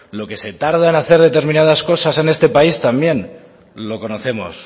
lo que se tarda en hacer determinadas cosas en este país también lo conocemos